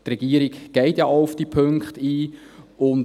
Die Regierung geht ja auch auf die Punkte ein.